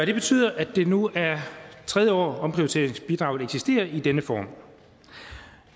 det betyder at det nu er tredje år omprioriteringsbidraget eksisterer i denne form